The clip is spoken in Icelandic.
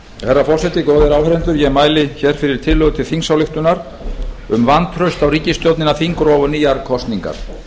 herra forseti góðir áheyrendur ég mæli fyrir tillögu til þingsályktunar um vantraust á ríkisstjórnina þingrof og nýjar kosningar